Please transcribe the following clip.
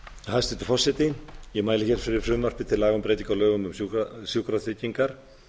hæstvirtur forseti ég mæli hér fyrir frumvarpi til laga um breytingu á lögum um sjúkratryggingar